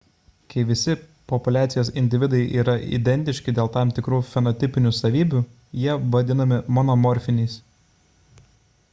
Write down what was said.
kai visi populiacijos individai yra identiški dėl tam tikrų fenotipinių savybių jie vadinami monomorfiniais